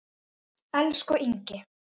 Elsku Ingi.